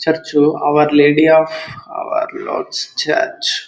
Church our lady of our lord's church .